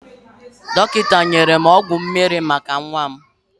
Dokinta nyere m ọgwọ mmiri maka nwa m.